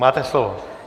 Máte slovo.